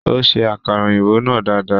Ó ṣe akara òyìnbó náà dada.